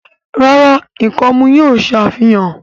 ràrá ikọmu yín o ṣàfihàn.